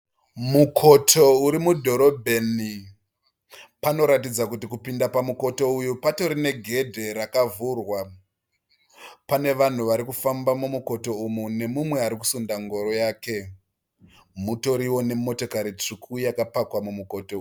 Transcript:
Mukoto uri mudhorobheni . Panoratidza kuti kupinda pamumukoto uyu patorine gedhe rakavhurwa. Pane vanhu vari kufamba mumukoto umu nemumwe ari kusunda ngoro yake. Mutoriwo nemotokari tsvuku yakapakwa mumukoto.